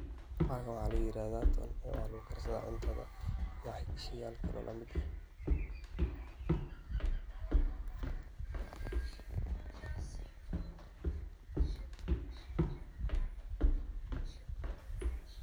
Waxaan waxaa la yirahdha toon oo waxa lugu karsadha cuntadha .